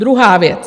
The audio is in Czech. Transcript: Druhá věc.